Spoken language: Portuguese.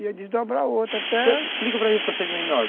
Ia desdobrar outro até... Então, explica para mim um procedimento